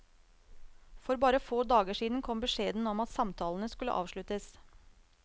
For bare få dager siden kom beskjeden om at samtalene skulle avsluttes.